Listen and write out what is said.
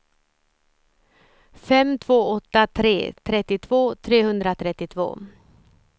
fem två åtta tre trettiotvå trehundratrettiotvå